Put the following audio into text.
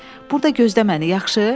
Burda gözdə məni, yaxşı?